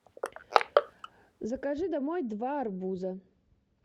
закажи домой два арбуза